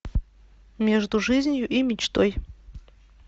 между жизнью и мечтой